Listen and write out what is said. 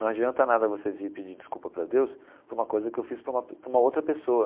Não adianta nada você vir pedir desculpa para Deus por uma coisa que eu fiz para uma para uma outra pessoa.